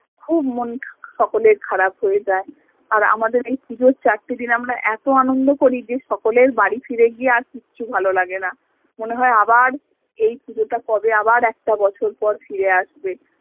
খুব মন সকলের খারাপ হয়ে যায় আর আমাদের এই পুজোর চারটে দিন আমরা এত আনন্দ করি যে সকলের বাড়ি ফিরে গিয়ে আর কিচ্ছু ভালো লাগে না মনে হয় আবার এই পুজোটা কবে আবার একটা বছর পর ফিরে আসবে